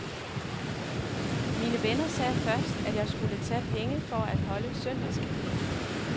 Mine venner sagde først, at jeg skulle tage penge for at holde søndagscaféen.